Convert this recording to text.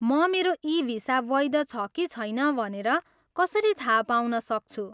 म मेरो ई भिसा वैध छ कि छैन भनेर कसरी थाहा पाउन सक्छु?